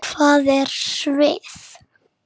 Takk fyrir hana Kollu.